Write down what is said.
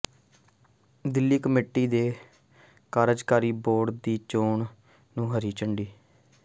Delhi committee ਦੇ ਕਾਰਜਕਾਰੀ board ਦੀ ਚੋਣ ਨੂੰ ਹਰੀ ਝੰਡੀ